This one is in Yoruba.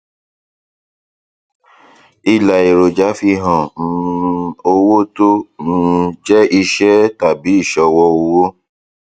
ilà èròjà fi hàn um owó tó um jẹ iṣẹ tàbí ìṣòwò owó